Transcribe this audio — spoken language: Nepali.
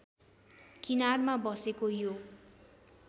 किनारमा बसेको यो